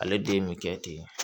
Ale den bɛ kɛ ten